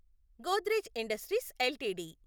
Godrej industries LTD